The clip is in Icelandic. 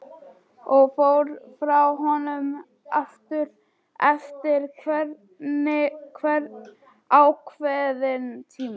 Og fór frá honum aftur eftir einhvern ákveðinn tíma.